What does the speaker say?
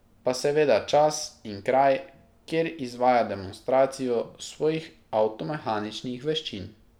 Pa seveda čas in kraj, kjer izvaja demonstracijo svojih avtomehaničnih veščin.